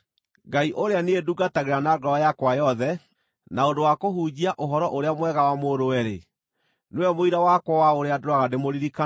Ngai, ũrĩa niĩ ndungatagĩra na ngoro yakwa yothe na ũndũ wa kũhunjia Ũhoro-ũrĩa-Mwega wa Mũrũwe-rĩ, nĩwe mũira wakwa wa ũrĩa ndũũraga ndĩmũririkanaga